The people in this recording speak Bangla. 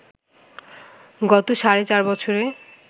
গত সাড়ে চার বছরে